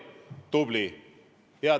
Tubli!